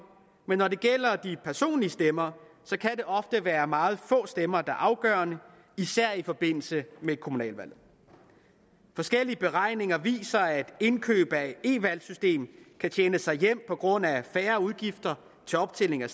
men når det gælder de personlige stemmer så kan det ofte være meget få stemmer der er afgørende især i forbindelse med et kommunalvalg forskellige beregninger viser at indkøb af et e valgsystem kan tjene sig hjem på grund af færre udgifter til optælling af